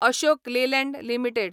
Ashok Leyland limited